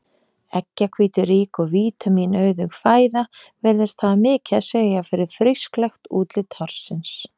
Eggjahvíturík og vítamínauðug fæða virðist hafa mikið að segja fyrir frísklegt útlit hársins.